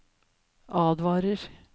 advarer